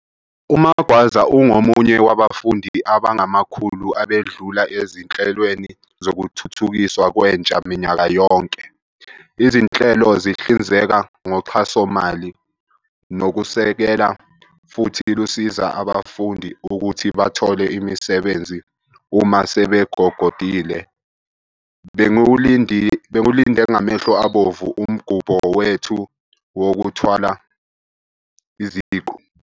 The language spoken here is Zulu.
UMagwaza ungomunye wabafundi abangamakhulu abedlula ezinhlelweni zokuthuthukiswa kwentsha minyaka yonke. Izinhlelo zihlinzeka ngoxhasomali nokusekela futhi lusiza abafundi ukuthi bathole imisebenzi uma sebegogodile. "Bengiwulinde ngamehlo abomvu umgubho wethu wokuthwala iziqu."